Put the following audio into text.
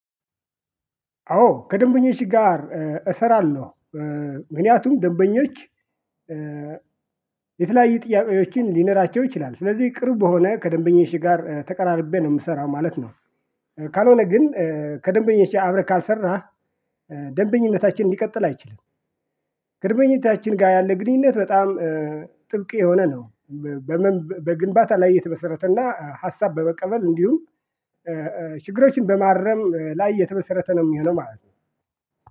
አዎ ከደንበኞች ጋር እሰራለሁ፤ ምክንያቱም ደንበኞች የተለያዩ ጥያቄዎችን ሊነራቸው ይችላ፤ ስለዚህ ቅርብ በሆነ ከደንበኞች ጋር ተቀራርቤ ነው የምሰራው ማለት ነው። ካልሆነ ግን ከደንበኞች አብረህ ካልሰራህ ደንበኝነታችን ሊቀጥል አይችል፤ ደንበኞቻችን ጋር ያለ ግንኙነት በጣም ጥብቅ የሆነ ነው። በግንባታ ላይ የተመሰረተና ሀሳብ በመቀበል እንዲሁም ችግሮችን በማረም ላይ የተመሰረተ ነው የሚሆነው ማለት ነው።